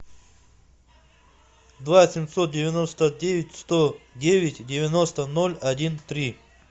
два семьсот девяносто девять сто девять девяносто ноль один три